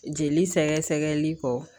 Jeli sɛgɛ sɛgɛli kɔ